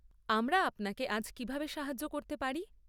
আমরা আপনাকে আজ কিভাবে সাহায্য করতে পারি?